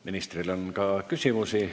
Ministrile on ka küsimusi.